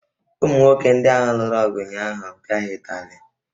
Ụmụ nwoke ndị ahụ lụrụ ọgụ ụnyaahụ, pịa ha ụtalị!